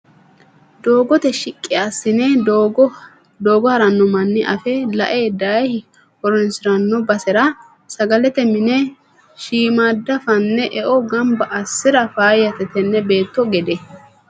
Doogote shiqqi assine doogo harano manni afe lae daaye horonsirano basera sagalete mine shiimada fanne eo gamba assira faayyate tene beetto gede.